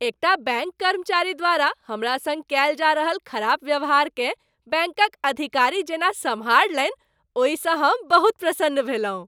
एकटा बैंक कर्मचारी द्वारा हमरा संग कयल जा रहल खराप व्यवहारकेँ बैंकक अधिकारी जेना सम्हारलनि ओहिसँ हम बहुत प्रसन्न भेलहुँ।